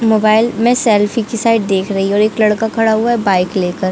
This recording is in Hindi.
मोबाइल में सेल्फी की साइड देख रही है। और एक लड़का खड़ा हुआ है बाइक लेकर--